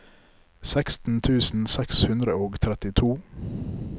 seksten tusen seks hundre og trettito